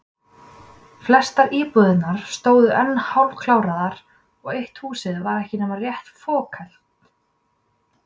Flestar íbúðirnar stóðu enn hálfkaraðar og eitt húsið var ekki nema rétt fokhelt.